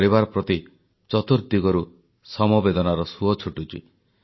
ଶହିଦ ଏବଂ ସେମାନଙ୍କ ପରିବାର ପ୍ରତି ଚତୁର୍ଦିଗରୁ ସମବେଦନାର ସୁଅ ଛୁଟିଛି